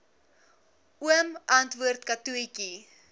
oom antwoord katotjie